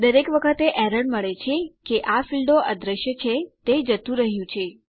દરેક વખતે એરર મળે છે કે આ ફીલ્ડો અદૃશ્ય છે તે જતું રહ્યું છે